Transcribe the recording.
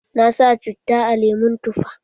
Na sa citta a lemon tufa.